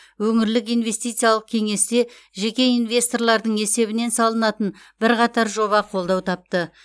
өңірлік инвестициялық кеңесте жеке инвесторлардың есебінен салынатын бірқатар жоба қолдау тапты